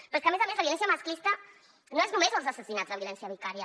però és que a més a més la violència masclista no són només els assassinats de violència vicària